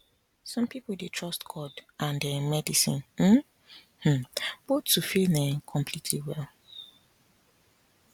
some people dey trust god and um medicine um um both to feel um completely well